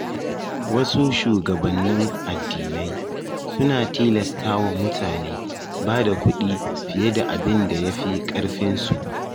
Wasu shugabannin addinai sunatilastawa mutane bada kuɗi fiye da abinda yafi ƙarfinsu.